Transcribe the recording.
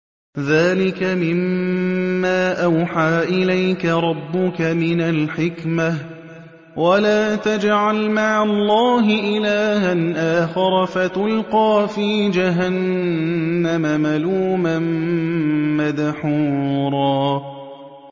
ذَٰلِكَ مِمَّا أَوْحَىٰ إِلَيْكَ رَبُّكَ مِنَ الْحِكْمَةِ ۗ وَلَا تَجْعَلْ مَعَ اللَّهِ إِلَٰهًا آخَرَ فَتُلْقَىٰ فِي جَهَنَّمَ مَلُومًا مَّدْحُورًا